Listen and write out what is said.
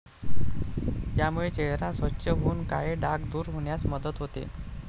यामुळे चेहरा स्वच्छ होऊन काळे डाग दूर होण्यास मदत होते.